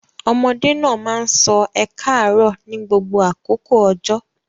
Ọmọdé náà máa sọ ẹ káàárọ̀ ní gbogbo àkókò ọjọ́.